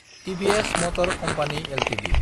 TVS motor company Ltd